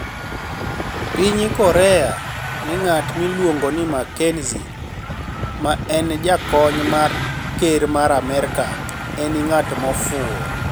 piniy korea nigat miluonigo nii Makenizi, ma eni jakoniy mar ker mar Amerka eni 'nig'at mofuwo'